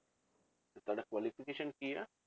ਤੇ ਤੁਹਾਡਾ qualification ਕੀ ਆ?